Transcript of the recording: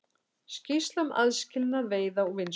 Skýrsla um aðskilnað veiða og vinnslu